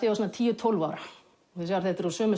svona tíu til tólf ára þetta er úr sömu